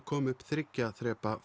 koma upp þriggja þrepa